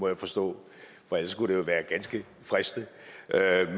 jeg forstå for ellers kunne det jo være ganske fristende at